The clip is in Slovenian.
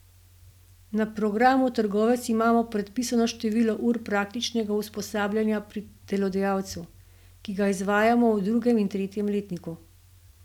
Na programu Trgovec imamo predpisano število ur praktičnega usposabljanja pri delodajalcu, ki ga izvajamo v drugem in tretjem letniku.